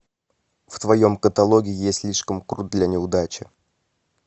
в твоем каталоге есть слишком крут для неудачи